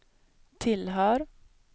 tillhör